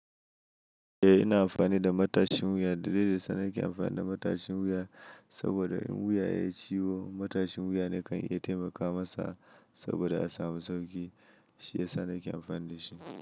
Eh, ina amfani da matashin wuya. Dalili da yasa nake amfani da matashin wuya saboda in wuya ya ciwo, matashin wuya ne kan iya taimakawa masa saboda a samu sauki, shi yasa nake amfanin shi.